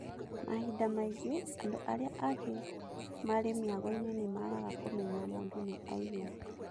Mahinda maingĩ andũ arĩa angĩ marĩ mĩagoinĩ nĩmagaga kũmenya mũndũ nĩaiyo.